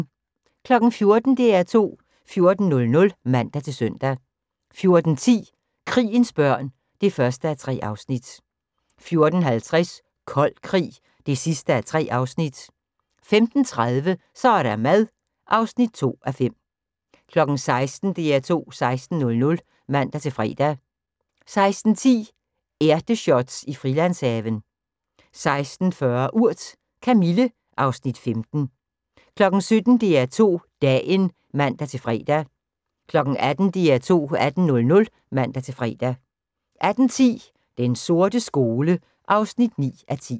14:00: DR2 14.00 (man-søn) 14:10: Krigens børn (1:3) 14:50: Kold krig (3:3) 15:30: Så er der mad (2:5) 16:00: DR2 16.00 (man-fre) 16:10: Ærteshots i Frilandshaven 16:40: Urt: Kamille (Afs. 15) 17:00: DR2 Dagen (man-fre) 18:00: DR2 18.00 (man-fre) 18:10: Den sorte skole (9:10)